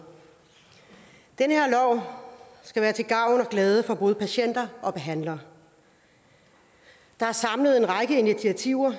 den her lov skal være til gavn og glæde for både patienter og behandlere der er samlet en række initiativer og